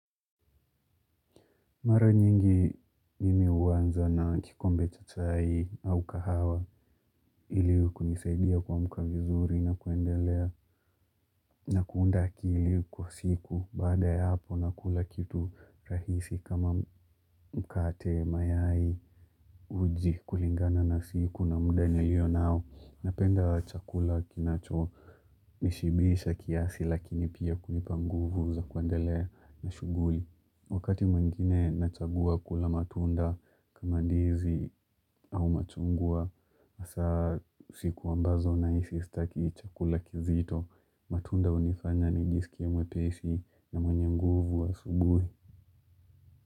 Mara nyingi mimi huanza na kikombe cha chai au kahawa ili kunisaidia kuamka vizuri na kuendelea. Na kuunda akili kwa siku baada ya hapo nakula kitu rahisi kama mkate mayai. Uji kulingana na siku na muda nilionao napenda chakula kinacho nishibisha kiasi lakini pia kunipa nguvu za kuendelea na shughuli. Wakati mwengine nachagua kula matunda kama ndizi au machungwa hasa siku ambazo nahisi sitaki chakula kizito. Matunda unifanya nijisikie mwepesi na mwenye nguvu wa asubuhi.